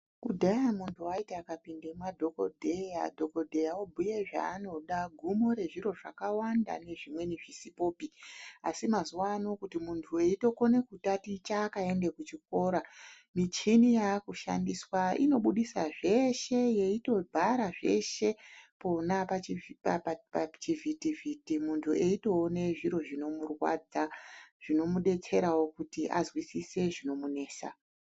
Kudhaya muntu waiti akapinde madhokodheya, dhokodheya obhuye zvaanoda gumo rezviro zvakawanda nezvimweni zvisipopi, asi mazuvano kuti muntu weitokone kutaticha akaende kuchikora michini yakushandiswa inobudisa zveshe yeitobhara zveshe pona pachivhitivhiti muntu eitoone zviro zvinokurwadza zvinomudetserawo kuti azwisise zvinomunesa.